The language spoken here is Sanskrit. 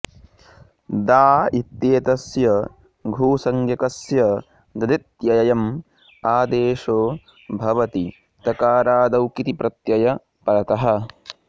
दा इत्येतस्य घुसंज्ञकस्य ददित्ययम् आदेशो भवति तकारादौ किति प्रत्यय परतः